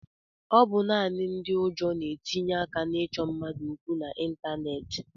Ọ bụ naanị ndị ụjọ na-etinye aka na-ịchọ mmadụ okwu n'ịntaneetị.